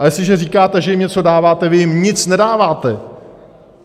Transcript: A jestliže říkáte, že jim něco dáváte - vy jim nic nedáváte!